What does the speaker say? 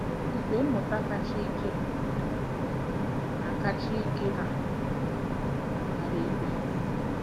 "igwe mmụta kacha ike na kacha ike na mbara igwe"